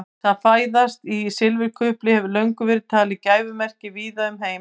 Það að fæðast í sigurkufli hefur löngum verið talið gæfumerki víða um heim.